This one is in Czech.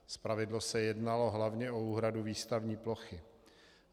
Zpravidla se jednalo hlavně o úhradu výstavní plochy.